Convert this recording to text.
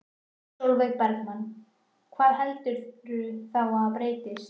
Sólveig Bergmann: Hvað heldurðu þá að breytist?